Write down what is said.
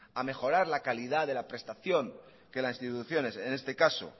a mejorar la calidad de la prestación que las instituciones en este caso